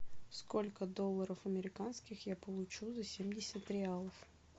сколько долларов американских я получу за семьдесят реалов